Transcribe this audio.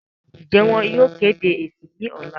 ǹjẹ́ wọn yóò kéde èsì ní ọ̀la?